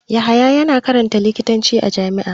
Yahaya yana karanta likitanci a jami'a.